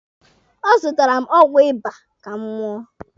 Ọ zụtaara m ọgwụ ịba ka m ṅụọ.